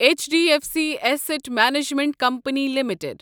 H D F C asset management company limited